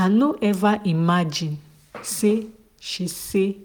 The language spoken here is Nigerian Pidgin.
i no ever imagine say she say